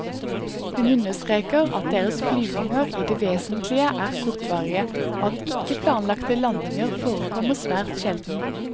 Hun understreker at deres flyvninger i det vesentlige er kortvarige og at ikke planlagte landinger forekommer svært sjelden.